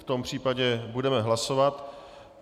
V tom případě budeme hlasovat.